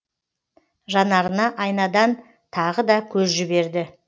жанарына айнадан тағы да көз жіберді